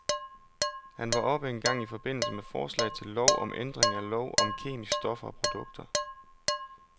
Han var oppe en gang i forbindelse med forslag til lov om ændring af lov om kemiske stoffer og produkter.